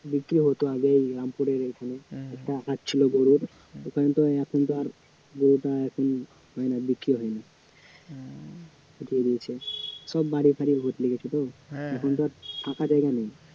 বিক্রী হত আগে এই রামপুরের এখানে একটা ছিল গরুর ওখানে তো এখন তো আর গরুটা এখন হয় না বিক্রী হয় না উঠিয়ে দিয়েছে সব বাড়ি ফাঁড়ি বদলে গেছে গো এখন তো আর ফাঁকা জায়গা নেই